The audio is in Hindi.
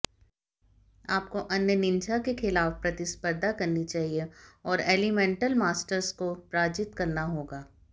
आपको अन्य निंजा के खिलाफ प्रतिस्पर्धा करनी चाहिए और एलिमेंटल मास्टर्स को पराजित करना होगा